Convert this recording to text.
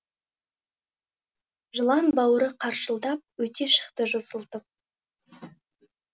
жылан бауыры қаршылдап өте шықты жосылтып